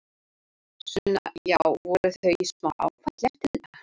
Sunna: Já, voru þau í smá áfalli eftir þetta?